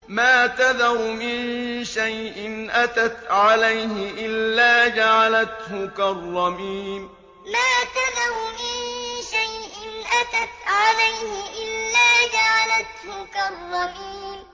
مَا تَذَرُ مِن شَيْءٍ أَتَتْ عَلَيْهِ إِلَّا جَعَلَتْهُ كَالرَّمِيمِ مَا تَذَرُ مِن شَيْءٍ أَتَتْ عَلَيْهِ إِلَّا جَعَلَتْهُ كَالرَّمِيمِ